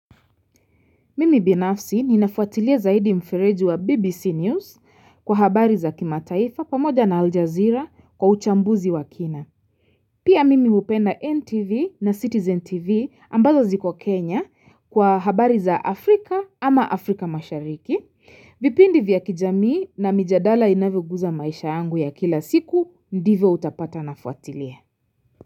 Mimi binafsi ni nafuatilie zaidi mfereju wa BBC News kwa habari za kima taifa pamoja na Aljazeera kwa uchambuzi wa kina. Pia mimi upenda NTV na Citizen TV ambazo ziko Kenya kwa habari za Afrika ama Afrika mashariki. Vipindi vya kijamii na mijadala inave guza maisha yangu ya kila siku ndive utapata nafuatilie.